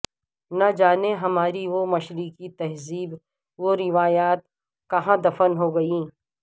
نجانے ہماری وہ مشرقی تہذیب و روایات کہاں دفن ہو گئیں